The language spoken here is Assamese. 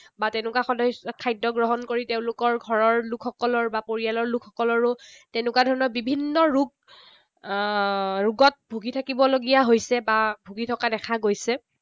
বা তেনেকুৱা সদ খাদ্য গ্ৰহণ কৰি তেওঁলোকৰ ঘৰৰ লোকসকলৰ বা পৰিয়ালৰ লোকসকলৰো তেনেকুৱা ধৰণৰ বিভিন্ন ৰোগ আহ ৰোগত ভুগি থাকিবলগীয়া হৈছে। বা ভুগি থকা দেখা গৈছে।